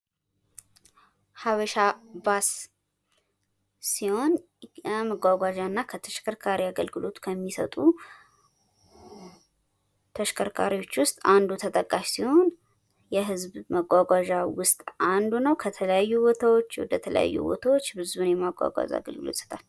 ሐበሻ ባስ ሲሆን መጓጓዣና ለተሽከርካሪ አገልግሎት ከሚሰጡ ተሽከርካሪዎች ውስጥ አንዱ ተጠቃሽ ሲሆን የህዝብ መጓጓዣ ውስጥ አንዱ ነው። ከተለያዩ ቦታዎች ወደ ተለያዩ ቦታዎች ብዙ የማጓጓዝ አገልግሎት ይሰጣል።